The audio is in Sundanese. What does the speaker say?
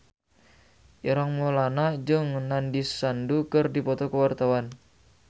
Ireng Maulana jeung Nandish Sandhu keur dipoto ku wartawan